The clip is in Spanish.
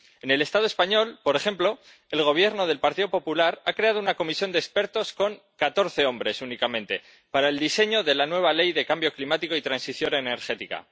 En el Estado español, por ejemplo, el Gobierno del Partido Popular ha creado una comisión de expertos con catorce hombres únicamente para el diseño de la nueva ley de cambio climático y transición energética.